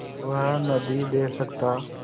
वह नदीं दे सकता